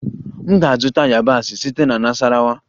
M ga-azụta yabasị site na Nasarawa